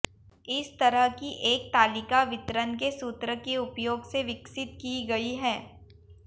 इस तरह की एक तालिका वितरण के सूत्र के उपयोग से विकसित की गई है